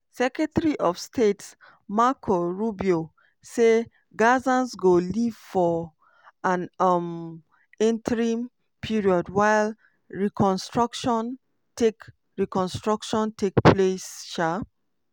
secretary of state marco rubio say gazans go leave for an um "interim" period while reconstruction take reconstruction take place. um